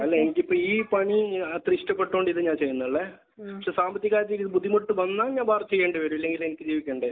അല്ല. ഇതിപ്പോൾ ഈ പണി അത്ര ഇഷ്ടപ്പെട്ടത് കൊണ്ട് ഞാൻ ചെയ്യുന്നതല്ല. പക്ഷെ സാമ്പത്തികമായിട്ട് എനിക്ക് ബുദ്ധിമുട്ട് വന്നാൽ ഞാൻ വർക്ക് ചെയ്യേണ്ടി വരും. ഇല്ലെങ്കിൽ എനിക്ക് ജീവിക്കണ്ടേ?